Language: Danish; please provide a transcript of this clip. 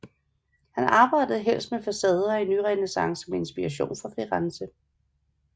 Han arbejde helst med facader i nyrenæssance med inspiration fra Firenze